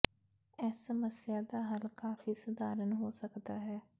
ਇਸ ਸਮੱਸਿਆ ਦਾ ਹੱਲ ਕਾਫ਼ੀ ਸਧਾਰਨ ਹੋ ਸਕਦਾ ਹੈ